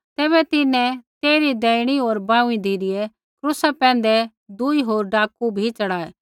तैबै तिन्हैं तेइरी दैहिणी होर बांऊँई धिरै क्रूसा पैंधै दूई होरा डाकू बी च़ढ़ाऐ